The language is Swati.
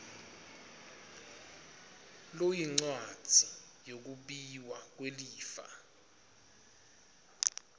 loyincwadzi yekwabiwa kwelifa